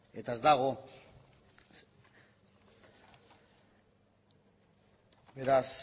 eta ez dago beraz